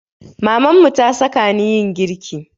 Mamanmu ta saka ni yin girki